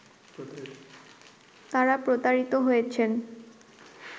তারা প্রতারিত হয়েছেন